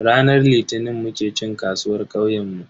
Ranar Litinin muke cin kasuwar kauyenmu.